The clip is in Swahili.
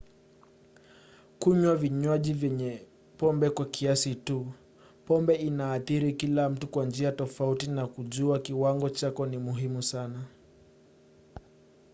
kunywa vinywaji vyenye pombe kwa kiasi tu. pombe inaathiri kila mtu kwa njia tofauti na kujua kiwango chako ni muhimu sana